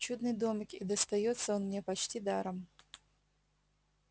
чудный домик и достаётся он мне почти даром